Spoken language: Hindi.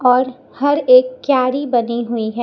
और हर एक क्यारी बनी हुई है।